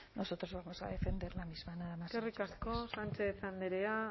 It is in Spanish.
nosotros vamos a defender la misma nada más y muchas gracias eskerrik asko sánchez andrea